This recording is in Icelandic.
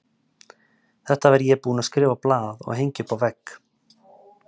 Þetta var ég búinn að skrifa á blað og hengja upp á vegg.